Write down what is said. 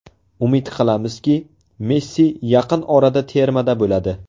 Umid qilamizki, Messi yaqin orada termada bo‘ladi.